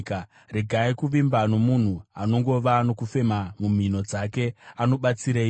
Regai kuvimba nomunhu, anongova nokufema mumhino dzake. Anobatsireiko?